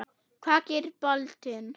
Hvað gerir boltinn?